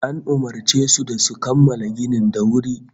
An umurce su da su kammala ginin da wuri